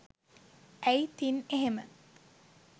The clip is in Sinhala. ඇයි තින් එහෙම